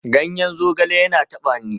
Ganyen zogale yana tafe ni